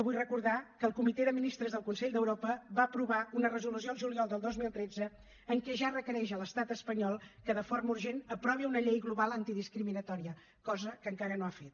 vull recordar que el comitè de ministres del consell d’europa va aprovar una resolució el juliol del dos mil tretze en què ja requereix a l’estat espanyol que de forma urgent aprovi una llei global antidiscriminatòria cosa que encara no ha fet